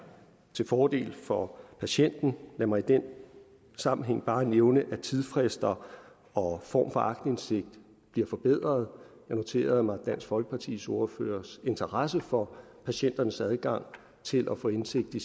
til fordel for patienten og lad mig i den sammenhæng bare nævne at tidsfrister og form for aktindsigt bliver forbedret jeg noterede mig dansk folkepartis ordførers interesse for patienternes adgang til at få indsigt i